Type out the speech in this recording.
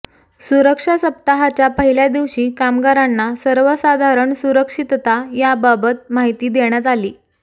सुरक्षा सप्ताहाच्या पहिल्या दिवशी कामगारांना सर्वसाधारण सुरक्षितता याबाबत माहिती देण्यात आली